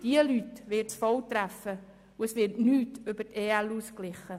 Diese Leute wird es voll treffen, und es wird nichts über die EL ausgeglichen.